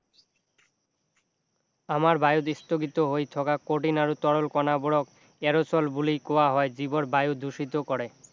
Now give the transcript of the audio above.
আমাৰ বায়ুত স্থগিত হৈ থকা কঠিন আৰু তৰল কণাবোৰক aerosol বুলি কোৱা হয় যিবোৰ বায়ু দুঃখিত কৰে